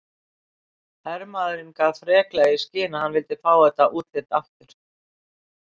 Hermaðurinn gaf freklega í skyn að hann vildi fá þetta útlit aftur.